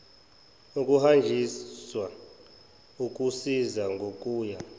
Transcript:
ukuhanjiswa ukusizwa ngokuya